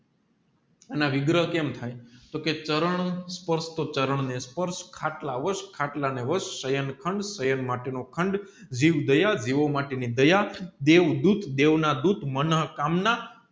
અને વિગ્રહ કેમ થાય તોકે ચરણસ્પર્શ તો ચારણ ને સ્પર્શ ખાટ્લાહોશ ખાટલા ને હોશ સાયં ખંડ તો સાયં માટે નો ખાંડ જીવદયા જીવ માટે ની દયા ડેવડૂતઃ દેવના દૂતઃ મનોકામના